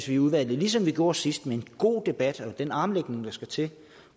vi i udvalget ligesom vi gjorde sidst med en god debat og med den armlægning der skal til